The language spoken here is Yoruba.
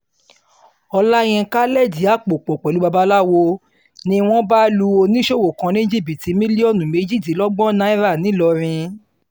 ọ̀làyinka lẹ̀dí àpò pọ̀ pẹ̀lú babaláwo ni wọ́n bá lu oníṣòwò kan ní jìbìtì mílíọ̀nù méjìdínlọ́gbọ̀n náírà ńìlọrin